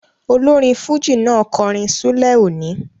Olórin fújì náà kọrin ṣúlẹ̀ òní